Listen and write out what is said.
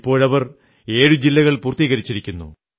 ഇപ്പോഴവർ ഏഴു ജില്ലകൾ പൂർത്തീകരിച്ചിരിക്കുന്നു